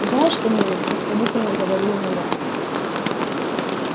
знаешь что милый снисходительно говорю ему я